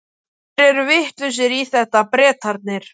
Þeir eru vitlausir í þetta, Bretarnir.